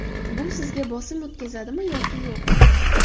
Bu sizga bosim o‘tkazadimi yoki yo‘q?